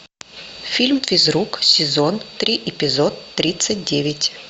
фильм физрук сезон три эпизод тридцать девять